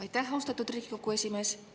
Aitäh, austatud Riigikogu esimees!